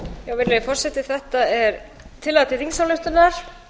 virðulegi forseti þetta er tillaga til þingsályktunar